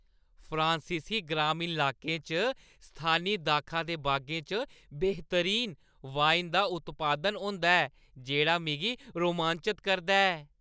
फ्रांसीसी ग्रामीण लाकें च स्थानी दाखा दे बागें च बेह्तरीन वाइन दा उत्पादन होंदा ऐ, जेह्ड़ा मिगी रोमांचत करदा ऐ।